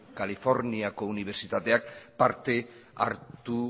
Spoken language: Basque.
californiako unibertsitateak parte hartu